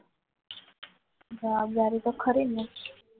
જવાબદારી તો ખરી જ ને